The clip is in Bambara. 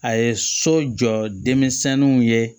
A ye so jɔ denmisɛnninw ye